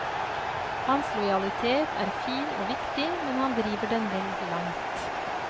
Hans lojalitet er fin og viktig, men han driver den vel langt.